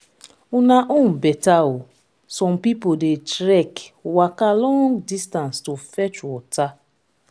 una own beta oo some people dey trek waka long distance to fetch water